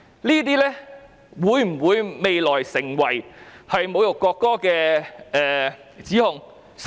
這些行為未來會否構成侮辱國歌的指控？